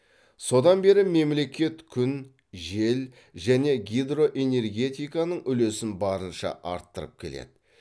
содан бері мемлекет күн жел және гидроэнергетиканың үлесін барынша арттырып келеді